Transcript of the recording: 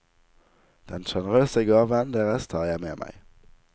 Den generøse gaven deres tar jeg med meg.